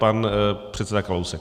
Pan předseda Kalousek.